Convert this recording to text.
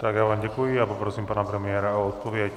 Tak já vám děkuji a poprosím pana premiéra o odpověď.